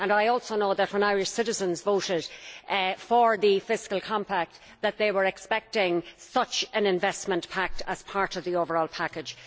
I also know that when Irish citizens voted for the fiscal compact that they were expecting such an investment pact as part of the overall package.